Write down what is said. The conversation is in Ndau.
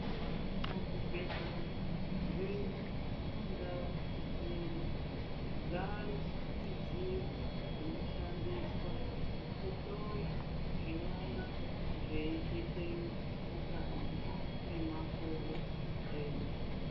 Muzvibhedhlera zvedu mundau mwedu ,zvaayo zvidziyo zvinoshandiswa kuhloya zvinonga zveitetena mukati memakodo edu.